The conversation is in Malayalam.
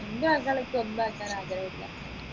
അൻറെ മക്കളെ അൻക്ക് ഒന്നും ആകാൻ ആഗ്രഹമില്ല